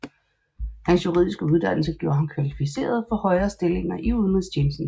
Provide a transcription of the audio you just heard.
Hans juridiske uddannelse gjorde ham kvalificeret for højere stillinger i udenrigstjenesten